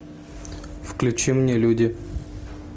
включи мне люди